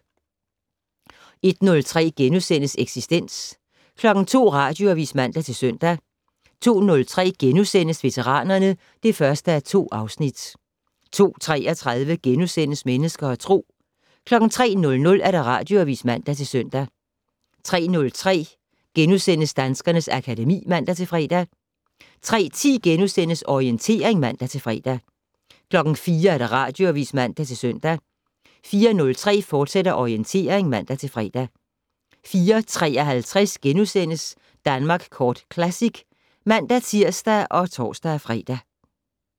01:03: Eksistens * 02:00: Radioavis (man-søn) 02:03: Veteranerne (1:2)* 02:33: Mennesker og Tro * 03:00: Radioavis (man-søn) 03:03: Danskernes akademi *(man-fre) 03:10: Orientering *(man-fre) 04:00: Radioavis (man-søn) 04:03: Orientering, fortsat (man-fre) 04:53: Danmark Kort Classic *(man-tir og tor-fre)